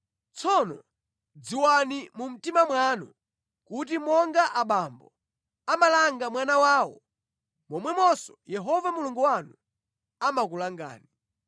Tsono dziwani mu mtima mwanu kuti monga abambo amalanga mwana wawo, momwemonso Yehova Mulungu wanu amakulangani.